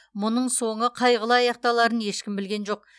мұның соңы қайғылы аяқталарын ешкім білген жоқ